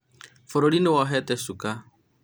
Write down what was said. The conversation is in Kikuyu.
bũrũri nĩ wohete cuka